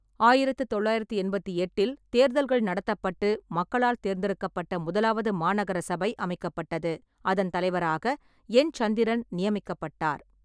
ஆயிரத்து தொள்ளாயிரத்தி எண்பத்தி எட்டில் தேர்தல்கள் நடத்தப்பட்டு மக்களால் தேர்ந்தெடுக்கப்பட்ட முதலாவது மாநகர சபை அமைக்கப்பட்டது. அதன் தலைவராக என். சந்திரன் நியமிக்கப்பட்டார்.